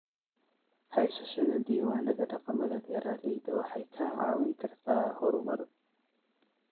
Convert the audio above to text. Haysashada diiwaanada dhaqamada beeralayda waxay kaa caawin kartaa horumar.